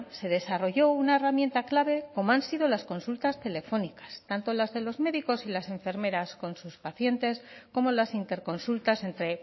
se desarrolló una herramienta clave como han sido las consultas telefónicas tanto las de los médicos y las enfermeras con sus pacientes como las interconsultas entre